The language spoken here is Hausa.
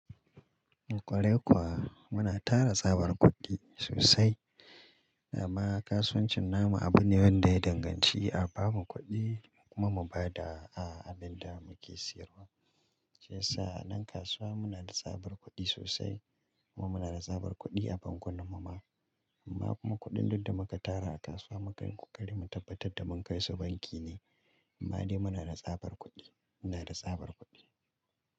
Kwarai kuwa muna tara tsabar kuɗi sosai, amma kasuwancin namu abu ne wanda ya danganci a bamu kuɗi kuma mu ba da abin da muke siyarwa. Shiyarsa nan kasuwa muna da tsabar kuɗi sosai kuma muna da tsabar kuɗi a bankunan mu ma. Amma kuma kuɗin duk da muka tara a kasuwa maka ri kuƙari mu tabbatar da mun kai su banki ne. Amma dai muna da tsabar kuɗi, muna da tsabar kuɗi.